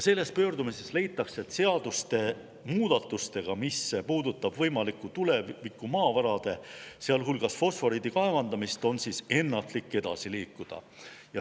Selles pöördumises leitakse, et seaduste muudatustega, mis puudutavad võimalikku tulevikumaavarade, sealhulgas fosforiidi kaevandamist, on ennatlik edasi liikuda.